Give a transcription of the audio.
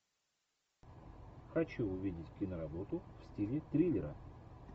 хочу увидеть киноработу в стиле триллера